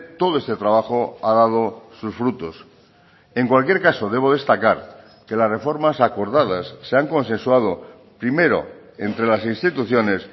todo este trabajo ha dado sus frutos en cualquier caso debo destacar que las reformas acordadas se han consensuado primero entre las instituciones